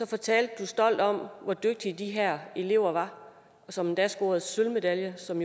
fortalte du stolt om hvor dygtige de her elever var som endda scorede sølvmedalje som